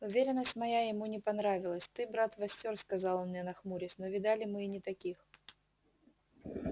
уверенность моя ему не понравилась ты брат востёр сказал он мне нахмурясь но видали мы и не таких